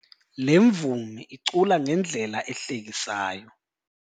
Le mvumi icula ngendlela ehlekisayo.